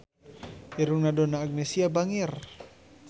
Irungna Donna Agnesia bangir